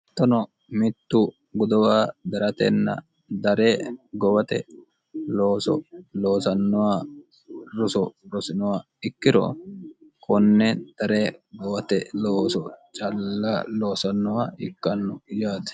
Hattono mittu gudowa daratenna dare gowate looso loosannoha roso rosinoha ikkiro konne dare gowate looso calla loosannoha ikkanno yaate